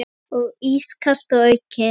Og ískalt að auki.